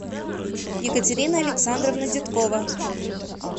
екатерина александровна деткова